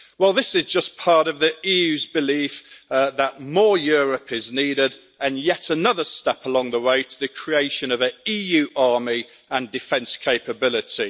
This is just part of the EU's belief that more Europe' is needed, and yet another step along the way to the creation of an EU army and defence capability.